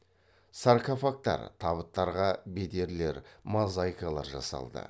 саркофагтар табыттарға бедерлер мозаикалар жасалды